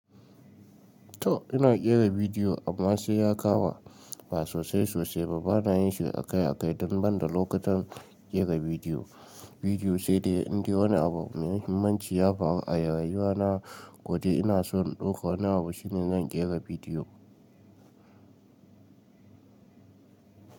To ina ƙera bidiyo amma sai ya ƙama ba sosai sosai ba, bana yin shi akai-akai don banda lokutan ƙera bidiyo, bidiyo sai dai in dai wani abu mai muhimmanci ya faru a rayuwa na ko dai ina so in ɗauka wani abu shine zan ƙera bidiyo.